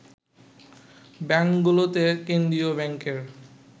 ব্যাংকগুলোতে কেন্দ্রীয় ব্যাংকের